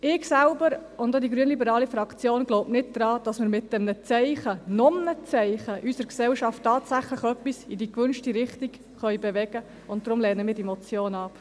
Ich selbst – und auch die grünliberale Fraktion – glaube nicht daran, dass wir mit einem Zeichen, einem weiteren Zeichen, unsere Gesellschaft tatsächlich etwas in die gewünschte Richtung bewegen können, und deshalb lehnen wir diese Motion ab.